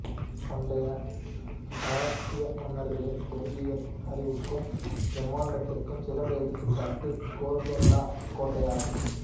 பண்டைய காஹாத்திய மன்னர்களின் பொறியியல் அறிவுக்கும் பிரமாண்டத்திற்கும் சிறந்த எடுத்துக்காட்டு கோல்கோண்டா கோட்டையாகும்